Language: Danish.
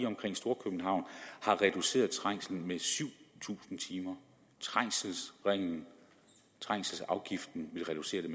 omkring storkøbenhavn har reduceret trængselen med syv tusind timer trængselsringen trængselsafgiften vil reducere det